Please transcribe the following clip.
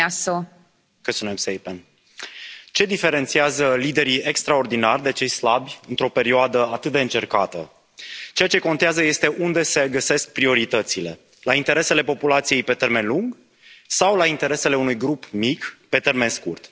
Doamnă președintă, ce diferențiază liderii extraordinari de cei slabi într o perioadă atât de încercată? Ceea ce contează este unde se găsesc prioritățile la interesele populației pe termen lung sau la interesele unui grup mic pe termen scurt.